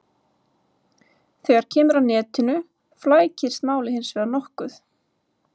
Þegar kemur að netinu flækist málið hins vegar nokkuð.